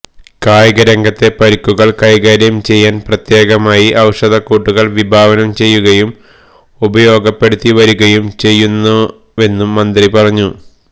കായിക രംഗത്തെ പരുക്കുകള് കൈകാര്യം ചെയ്യാന് പ്രത്യേകമായി ഔഷധക്കൂട്ടുകള് വിഭാവനം ചെയ്യുകയും ഉപയോഗപ്പെടുത്തി വരുകയും ചെയ്യുന്നവെന്നും മന്ത്രി പറഞ്ഞു